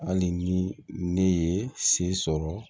Hali ni ne ye se sɔrɔ